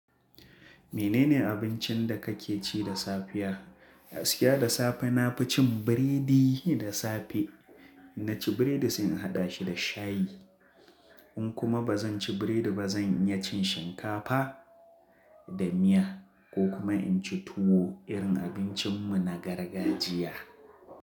Menene abincin da ka ke ci da safiya? Gaskiya da safe na fi cin biredi da safe. Na ci biredi sai in haɗa shi da shayi. In kuma ba zan ci biredi ba, zan iya cin shinkafa da miya ko kuma in ci tuwo irin abincin mu na gargajiya.